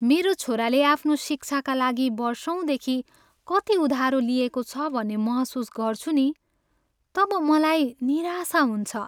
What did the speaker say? मेरो छोराले आफ्नो शिक्षाका लागि वर्षौँदेखि कति उधारो लिएको छ भन्ने महसुस गर्छु नि तब मलाई निराशा हुन्छ।